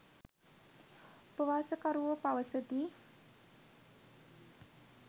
උපවාසකරුවෝ පවසති.